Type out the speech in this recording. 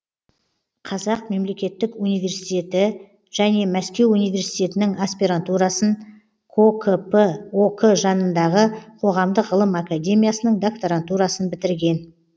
қазақ мемлекеттік университеті және мәскеу университетінің аспирантурасын кокп ок жанындағы қоғамдық ғылым академиясының докторантурасын бітірген